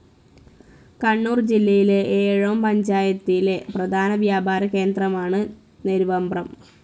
കണ്ണൂർ ജില്ലയിലെ ഏഴോം പഞ്ചായത്തിലെ പ്രധാന വ്യാപാര കേന്ദ്രമാണു് നെരുവമ്പ്രം.